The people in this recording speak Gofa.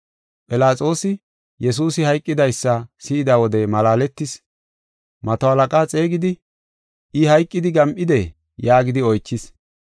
Philaxoosi, Yesuusi hayqidaysa si7ida wode malaaletis; mato halaqa xeegidi, “I hayqidi gam7idee?” yaagidi oychis.